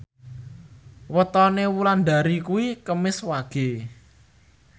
wetone Wulandari kuwi Kemis Wage